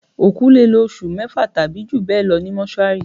Òkú lè lò oṣù mẹ́fà tàbí jù bẹ́ẹ̀ lọ ní Mọ́túárì